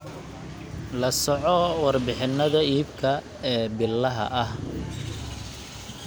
La soco warbixinnada iibka ee billaha ah.